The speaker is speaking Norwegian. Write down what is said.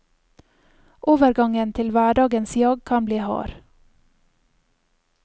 Overgangen til hverdagens jag kan bli hard.